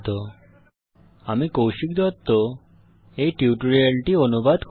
http spoken tutorialorgnmeict intro আমি কৌশিক দত্ত এই টিউটোরিয়ালটি অনুবাদ করেছি